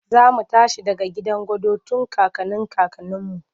Za mu tashi daga gidan gado tun kakannin kakanninmu.